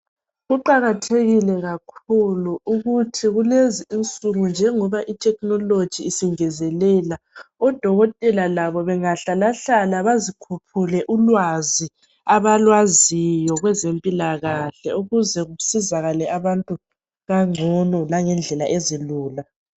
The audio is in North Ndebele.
Kuqakathekile kakhulu ukuthi kulezinsuku njengoba i technology isingezelela odokotela labo bengahlalahlala bazikhuphule ulwazi abalwaziyo kwezempilakahle ukuze kusizakale abantu kangcono langendlela ezilula